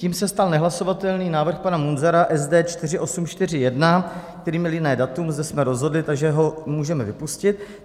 Tím se stal nehlasovatelný návrh pana Munzara SD 4841, který měl jiné datum, zde jsme rozhodli, takže ho můžeme vypustit.